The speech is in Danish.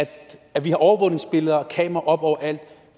at vi har overvågningsbilleder og kameraer oppe overalt